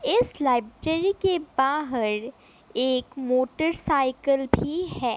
इस लाइब्रेरी के बाहर एक मोटरसाइकिल भी है।